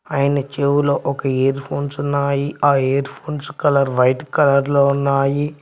ఆయన చెవులో ఒక ఇయర్ ఫోన్స్ ఉన్నాయి ఆ earphones colour white colour లో ఉన్నాయి.